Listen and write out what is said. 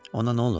Ona nə olub?